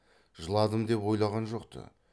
жыладым деп ойлаған жоқ ты